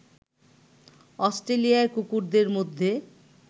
অস্ট্রেলিয়ায় কুকুরদের মধ্যে